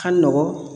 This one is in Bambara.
Ka nɔgɔn